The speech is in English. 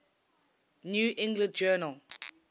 new england journal